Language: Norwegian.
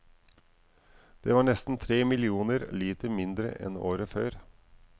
Det var nesten tre millioner liter mindre enn året før.